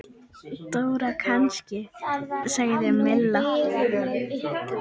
Dóra kannski? sagði Milla.